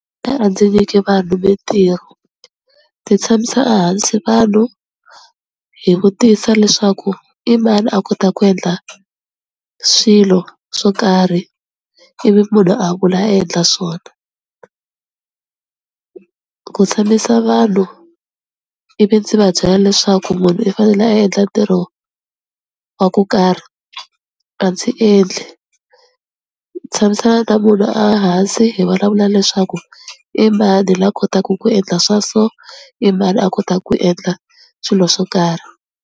a ndzi nyiki vanhu mintirho, ndzi tshamisa a hansi vanhu hi vutisa leswaku i mani a kota ku endla swilo swo karhi ivi munhu a vula a endla swona. Ku tshamisa vanhu ivi ndzi va byela leswaku munhu i fanele a endla ntirho wa ku karhi a ndzi endli, tshamisana na munhu a hansi hi vulavula leswaku i mani la kotaka ku endla swa so i mani a kotaka ku endla swilo swo karhi.